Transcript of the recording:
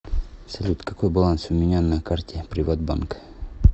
салют какой баланс у меня на карте приват банка